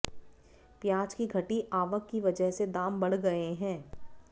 प्याज की घटी आवक की वजह से दाम बढ गए है